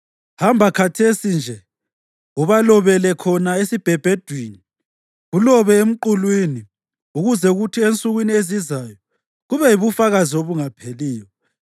Hamba khathesi nje, ubalobele khona esibhebhedwini, kulobe emqulwini, ukuze kuthi ensukwini ezizayo kube yibufakazi obungapheliyo.